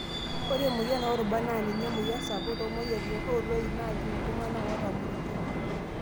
Ore emoyian oorubat naa ninye emoyian sapuk toomoyiaritin ooloik naajing' iltung'ana ootamorutua.